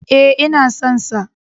E, ina son sa.